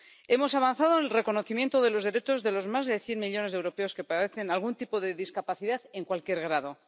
Hemos avanzado en el reconocimiento de los derechos de los más de cien millones de europeos que padecen algún tipo de discapacidad en cualquier grado.